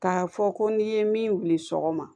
K'a fɔ ko n'i ye min wili sɔgɔma